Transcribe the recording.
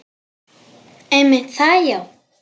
Einmitt það já.